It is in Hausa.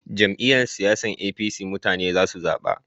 Jam'iyyar siyasan APC mutane za su zaba